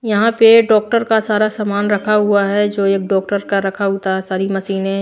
यहां पे डॉक्टर का सारा सामान रखा हुआ है जो एक डॉक्टर का रखा होता सारी मशीनें --